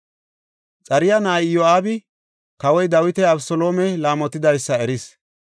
Xaruya na7ay Iyo7aabi Kawoy Dawiti Abeseloome laamotidaysa eris.